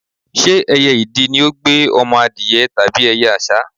Ṣé ẹyẹ idì ní ó gbé ọmọ adìẹ tàbí ẹyẹ àṣá?